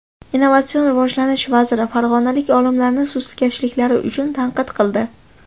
Innovatsion rivojlanish vaziri farg‘onalik olimlarni sustkashliklari uchun tanqid qildi.